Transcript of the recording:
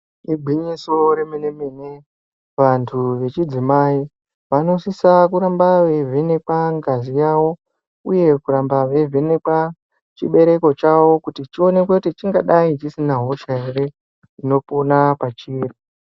Igwinyiso remene mene vantu vechidzimai vanosisa kuramba veivhenekwa ngazi yavo uye kuramba veivhenekwa chibereko chavo kuti chionekwe kuti chingadai chisina hosha ere inopona pachiri.